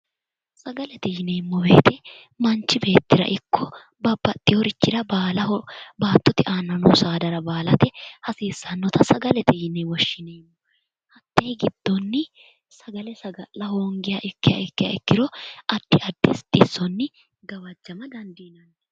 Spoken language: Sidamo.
Sagalete yineemmo weete manchi beettira iko babaxeworichira baallaho baatote aana noo baalate hasiissanote sagalete yineemmo